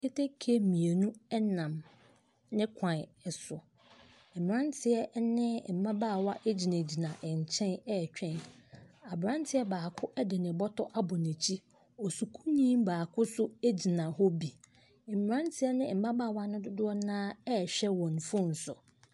Keteke mmienu nam ne kwan so. Mmranteɛ ne mmabaawa gyinagyina nkyɛn retwɛn. Abranteɛ baako de ne bɔtɔ abɔ n'akyi. Osukuuni baako nso gyina hɔ bi. Mmranteɛ ne mmabaawa dodoɔ no ara rehwɛ wɔn phone so.